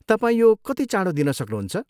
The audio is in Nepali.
तपाईँ यो कति चाँडो दिन सक्नुहुन्छ?